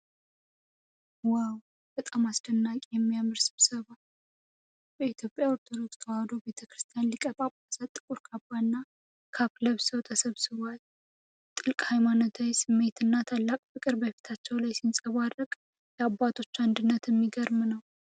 ዋው! በጣም አስደናቂና የሚያምር ስብሰባ! በኢትዮጵያ ኦርቶዶክስ ተዋሕዶ ቤተ ክርስቲያን ሊቃነ ጳጳሳት ጥቁር ካባ እና ካፕ ለብሰው ተሰብስበዋል። ጥልቅ ሃይማኖታዊ ስሜትና ታላቅ ፍቅር በፊታቸው ላይ ሲንጸባረቅ፣ የአባቶች አንድነት እሚገርም ነው።